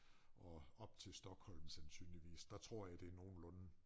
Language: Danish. Og op til Stockholm sandsynligvis der tror jeg det nogenlunde